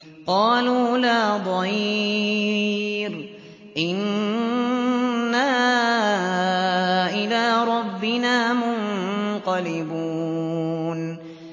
قَالُوا لَا ضَيْرَ ۖ إِنَّا إِلَىٰ رَبِّنَا مُنقَلِبُونَ